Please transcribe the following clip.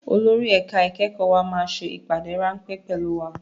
Olórí ẹ̀ka ìkẹ́kọ̀ọ́ wa máa ṣe ìpàdé ráńpẹ́ pẹ̀lú wa